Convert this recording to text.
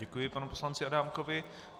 Děkuji panu poslanci Adámkovi.